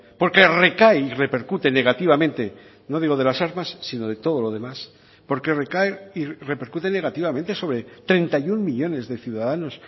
porque recae y repercute negativamente no digo de las armas sino de todo lo demás porque recae y repercute negativamente sobre treinta y uno millónes de ciudadanos